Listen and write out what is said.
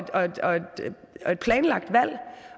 planlagt valg